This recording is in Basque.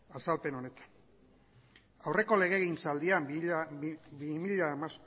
azalpen honetan aurreko legegintzaldian bi mila